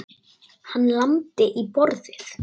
Hann lamdi í borðið.